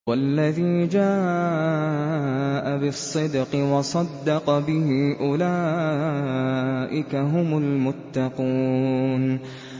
وَالَّذِي جَاءَ بِالصِّدْقِ وَصَدَّقَ بِهِ ۙ أُولَٰئِكَ هُمُ الْمُتَّقُونَ